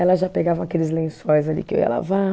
Elas já pegavam aqueles lençóis ali que eu ia lavar.